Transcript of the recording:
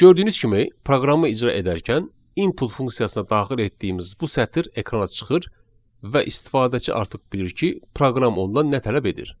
Gördüyünüz kimi proqramı icra edərkən "input" funksiyasına daxil etdiyimiz bu sətr ekrana çıxır və istifadəçi artıq bilir ki, proqram ondan nə tələb edir.